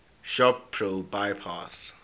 shop pro bypass